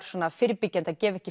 svona fyrirbyggjandi að gefa ekki